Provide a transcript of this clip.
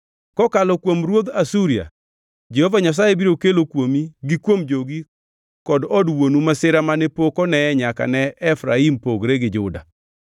Kokalo kuom ruodh Asuria, Jehova Nyasaye biro kelo kuomi gi kuom jogi kod od wuonu masira mane pok oneye nyaka ne Efraim pogre gi Juda.”